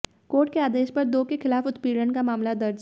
court के आदेश पर दो के खिलाफ उत्पीडऩ का मामला दर्ज